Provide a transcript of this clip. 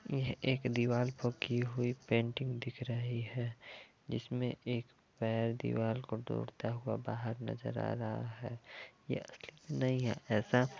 यह एक दीवाल को की हुई पेंटिंग दिख रही है जिसमें एक पैर दीवाल को तोड़ता हुआ बाहर नज़र आ रहा है ये असली नही है ऐसा --